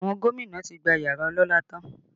Àwọn gómìnà tí gba yàrá ọlọ́lá tán